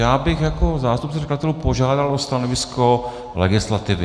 Já bych jako zástupce předkladatelů požádal o stanovisko legislativy.